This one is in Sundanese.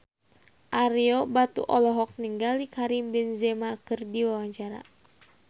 Ario Batu olohok ningali Karim Benzema keur diwawancara